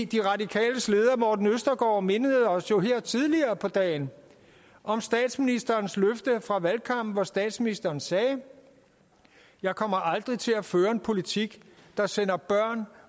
de radikales leder morten østergaard mindede os jo her tidligere på dagen om statsministerens løfte fra valgkampen hvor statsministeren sagde jeg kommer aldrig til at føre en politik der sender børn